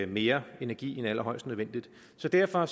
mere energi end allerhøjst nødvendigt så derfor